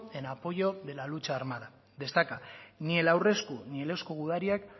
en apoyo de la lucha armada destaca ni el aurresku ni el eusko gudariak